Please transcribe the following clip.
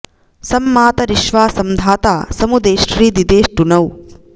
सं मा॑त॒रिश्वा॒ सं धा॒ता समु॒ देष्ट्री॑ दिदेष्टु नौ